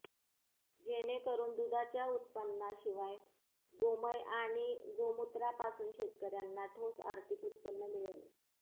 जेणेकरून दुधाच्या उत्पन्नाशिवाय गोमय आणि गोमूत्रापासून शेतकऱ्यांना ठोस आर्थिक उत्पन्न मिळेल